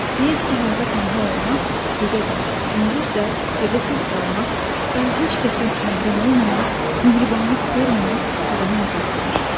Deyirdi ki, həyatda tənha olmaq, gecə də, gündüz də, evdə tək qalmaq, daha heç kəsə məhrəm olmamaq, mehribanlıq görməmək adama əzab verir.